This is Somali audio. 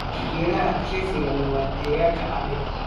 Geedaha adkaysiga leh wanaa deegaanka adag.